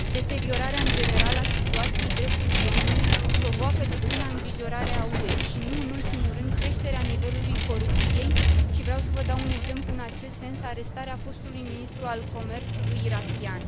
Deteriorarea în general a situației drepturilor omului provoacă deplina îngrijorare a UE. Și, nu în ultimul rând, creșterea nivelului corupției și vreau să vă dau un exemplu în acest sens arestarea fostului ministru al comerțului irakian.